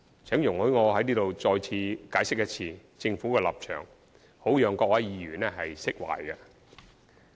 請容許我在這裏再次解釋政府的立場，好讓各位議員釋懷。